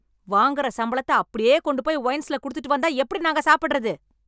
வாங்கற சம்பளத்தை அப்படியே கொண்டு போய் ஒயின்ஸ்ல் குடுத்துட்டு வந்தா எப்படி நாங்க சாப்பிடறது?